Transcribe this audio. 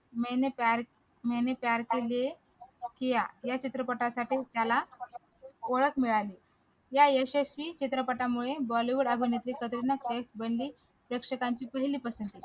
मैने प्यार किया या चित्रपटासाठी त्याला ओळख मिळाली या यशस्वी चित्रपटामुळे bollywood अभिनेत्री कटरीना कैफ बनली प्रेक्षकांची पहिले पसंती